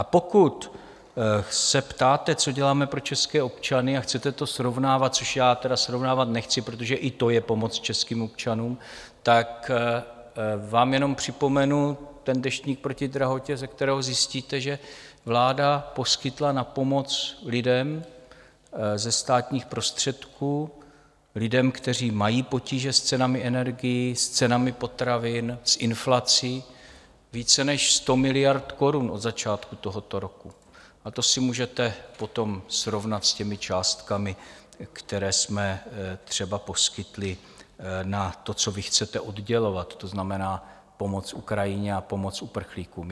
A pokud se ptáte, co děláme pro české občany, a chcete to srovnávat, což já tedy srovnávat nechci, protože i to je pomoc českým občanům, tak vám jenom připomenu ten Deštník proti drahotě, ze kterého zjistíte, že vláda poskytla na pomoc lidem ze státních prostředků, lidem, kteří mají potíže s cenami energií, s cenami potravin, s inflací více než 100 miliard korun od začátku tohoto roku, a to si můžete potom srovnat s těmi částkami, které jsme třeba poskytli na to, co vy chcete oddělovat, to znamená pomoc Ukrajině a pomoc uprchlíkům.